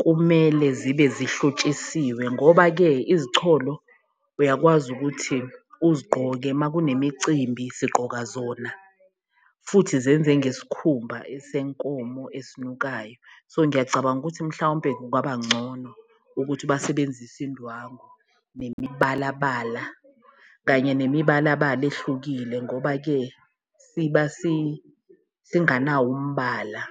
kumele zibe zihlotshiswe, ngoba-ke izicholo uyakwazi ukuthi uzigqoke uma kunemicimbi sigqoka zona futhi zenze ngesikhumba esenkomo esinukayo. So, ngiyacabanga ukuthi mhlawumpe kungaba ngcono ukuthi basebenzise indwangu nemibalabala kanye ngemibalabala ehlukile ngoba-ke siba singanawo umbala.